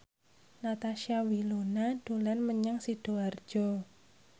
Natasha Wilona dolan menyang Sidoarjo